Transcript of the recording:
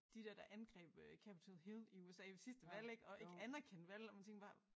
De der der angreb øh Capitol Hill i USA ved sidste valg ik og ikke anerkendte valget og man tænker bare